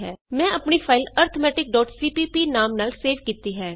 ਮੈਂ ਆਪਣੀ ਫਾਈਲ arithmeticਸੀਪੀਪੀ ਨਾਮ ਨਾਲ ਸੇਵ ਕੀਤੀ ਹੈ